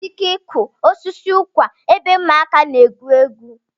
Ekwesịghị ịkụ osisi ụkwa ebe ụmụaka na-egwu egwu.